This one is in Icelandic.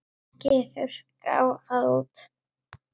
Ekki þurrka það út.